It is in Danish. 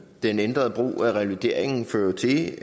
den ændrede brug af revalideringen fører jo til